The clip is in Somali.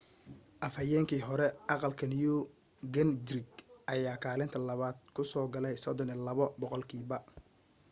afhayeenkii hore aqalka new gingrich ayaa kaalinta labaad ku soo galay 32 boqolkiiba